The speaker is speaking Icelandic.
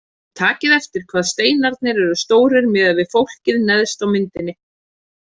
Takið eftir hvað steinarnir eru stórir miðað við fólkið neðst á myndinni.